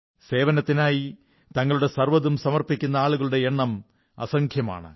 സേവനത്തിനായി തങ്ങളുടെ സർവ്വതും സമർപ്പിക്കുന്ന ആളുകളുടെ എണ്ണം അസംഖ്യമാണ്